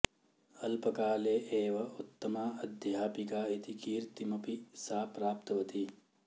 अल्पकाले एव उत्तमा अध्यापिका इति कीर्तिमपि सा प्राप्तवती